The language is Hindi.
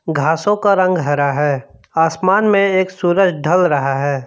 घासों का रंग हरा है आसमान में एक सुरज ढल रहा है।